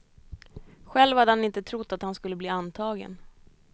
Själv hade han inte trott att han skulle bli antagen.